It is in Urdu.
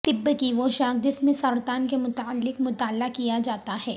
طب کی وہ شاخ جس میں سرطان کے متعلق مطالعہ کیا جاتا ہے